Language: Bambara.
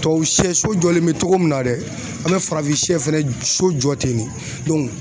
Tubabu siyɛ so jɔlen bɛ cogo min na dɛ an bɛ farafin siyɛ fɛnɛ so jɔ ten de